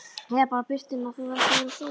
Eða bara birtuna, það þarf ekki að vera sól.